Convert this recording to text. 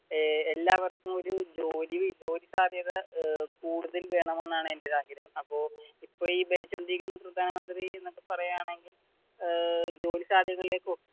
എല്ലാവര്ക്കും ഒരു ജോലി ജോലി സാധ്യത കൂടുതൽ വേണമെന്നാണ് എന്റെ ഒരു ആഗ്രഹം അപ്പോ ഇപ്പൊ ഈ ഭരിച്ചുകൊണ്ടിരിക്കുന്ന പ്രധാനമത്രി എന്ന് പറയുകയാണെകിൽ ഏർ ജോലി സാധ്യതകളിലേക്ക്